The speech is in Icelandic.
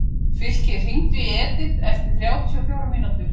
Fylkir, hringdu í Edith eftir þrjátíu og fjórar mínútur.